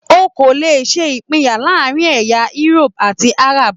O kò lè ṣe ìpinyà láàárína ará Egypt àti Arab.